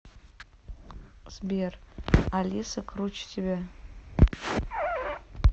сбер алиса круче тебя